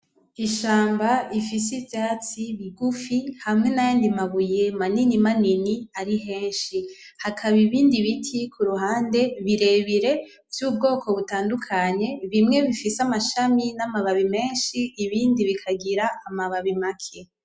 Ishamba rifise ivyatsi bigufi hamwe n'ayandi mabuye manini manini ari henshi hakaba ibindi biti kuruhande birebire vy,ubwoko butandukanye bimwe bifise amashami n,amababi menshi ibindi bikagira amababi make .